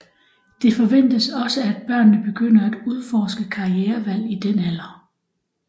Det forventes også at børnene begynder at udforske karrierevalg i den alder